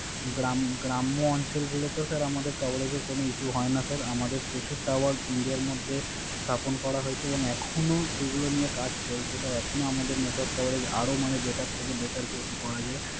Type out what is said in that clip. গ্রাম্য অঞ্চলগুলোতে Sir আমাদের Coverage এর কোন ইস্যু হয় না Sir. আমাদের প্রচুর Tower ইন্ডিয়ার মধ্যে স্থাপন করা হয়েছে এবং এখনো সেগুলো নিয়ে কাজ চলছে Sir এখনো আমাদের Network Coverage Better থেকে Better যেহেতু করা যায়।